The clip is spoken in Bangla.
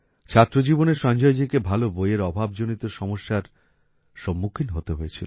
ছাত্রজীবনে সঞ্জয়জীকে ভালো বইয়ের অভাব জনিত সমস্যার সম্মুখীন হতে হয়েছিল